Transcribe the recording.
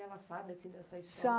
E ela sabe, assim, dessa história?